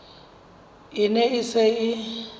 e ne e se e